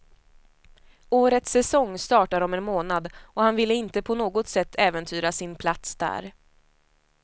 Årets säsong startar om en månad och han ville inte på något sätt äventyra sin plats där.